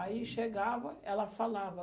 Aí chegava, ela falava.